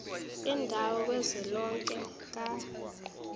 yendawo kazwelonke ka